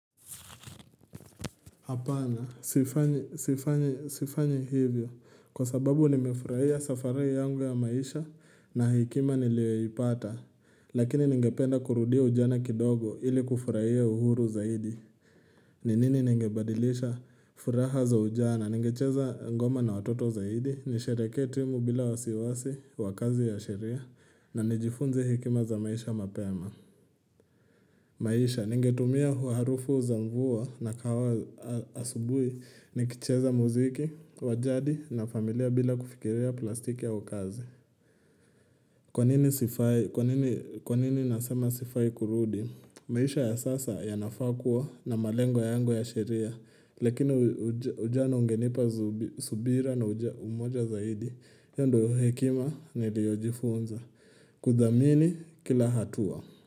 Hapana, sifanyi hivyo, kwa sababu nimefurahia safari yangu ya maisha na hekima niliyoipata, lakini ningependa kurudia ujana kidogo ili kufurahia uhuru zaidi. Ni nini ningebadilisha furaha za ujana? Ningecheza ngoma na watoto zaidi, nisherehekee timu bila wasiwasi wa kazi ya sheria, na nijifunze hekima za maisha mapema. Maisha, ningetumia harufu za mvua na kawa asubui nikicheza muziki wa jadi na familia bila kufikiria plastiki au kazi. Kwanini nasema sifai kurudi? Maisha ya sasa yanafaa kuwa na malengo yangu ya sheria, lakini ujana ungenipa subira na umoja zaidi. Hiyo ndio hekima niliyojifunza. Kudhamini kila hatua.